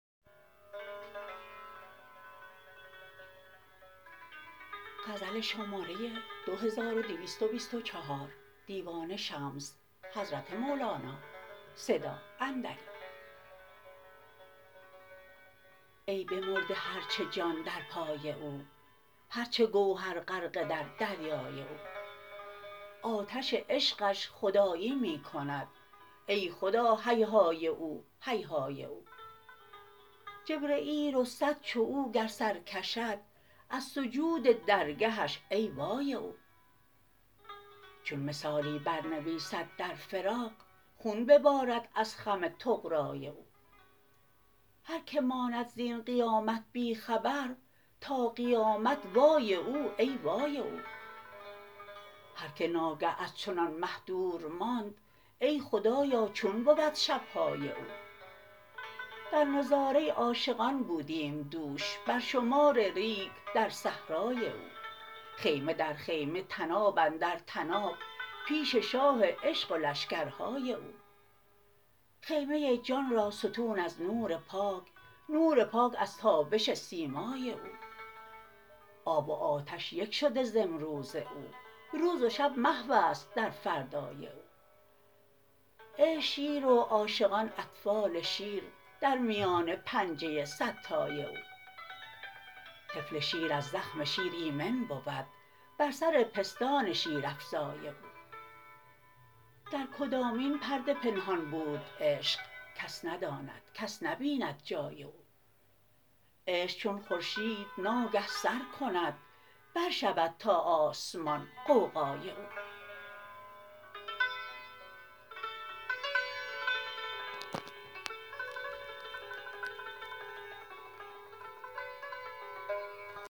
ای بمرده هر چه جان در پای او هر چه گوهر غرقه در دریای او آتش عشقش خدایی می کند ای خدا هیهای او هیهای او جبرییل و صد چو او گر سر کشد از سجود درگهش ای وای او چون مثالی برنویسد در فراق خون ببارد از خم طغرای او هر کی ماند زین قیامت بی خبر تا قیامت وای او ای وای او هر کی ناگه از چنان مه دور ماند ای خدایا چون بود شب های او در نظاره عاشقان بودیم دوش بر شمار ریگ در صحرای او خیمه در خیمه طناب اندر طناب پیش شاه عشق و لشکرهای او خیمه جان را ستون از نور پاک نور پاک از تابش سیمای او آب و آتش یک شده ز امروز او روز و شب محو است در فردای او عشق شیر و عاشقان اطفال شیر در میان پنجه صدتای او طفل شیر از زخم شیر ایمن بود بر سر پستان شیرافزای او در کدامین پرده پنهان بود عشق کس نداند کس نبیند جای او عشق چون خورشید ناگه سر کند برشود تا آسمان غوغای او